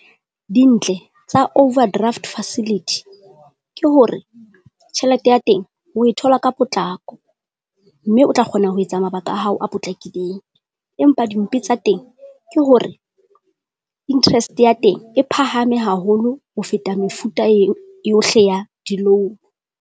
Dintle tsa overdraft facility ke hore tjhelete ya teng oe thola ka potlako, mme o tla kgona ho etsa mabaka a hao a potlakileng. Empa dimpe tsa teng, ke hore interest ya teng e phahame haholo ho feta mefuta yohle ya di-loan.